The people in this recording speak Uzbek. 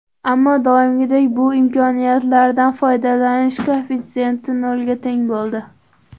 Ammo doimgidek bu imkoniyatlardan foydalanish koeffitsenti nolga teng bo‘ldi.